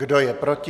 Kdo je proti?